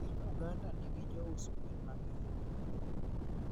Piny uganda nigi jous gwen mangeny